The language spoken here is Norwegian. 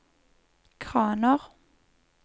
kraner